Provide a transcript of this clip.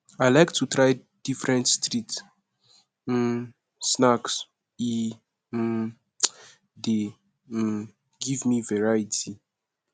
i like to try different street um snacks e um dey um give me variety